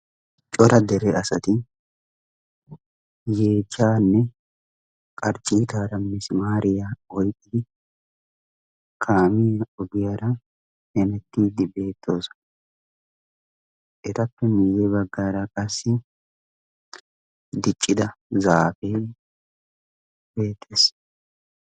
cora dere asati yeechanne qarcciitaara misimaariyaa oyqqidi kaamin ogiyaara hemettiiddi beettoosana etappe miyye baggaara qassi diccida zaafe beettees